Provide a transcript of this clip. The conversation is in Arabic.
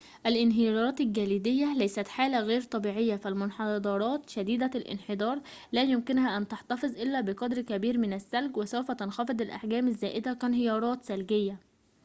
الانهيارات الجليدية ليست حالة غير طبيعية فالمنحدرات شديدة الانحدار لا يمكنها أن تحتفظ إلا بقدر كبير من الثلج وسوف تنخفض الأحجام الزائدة كانهيارات ثلجية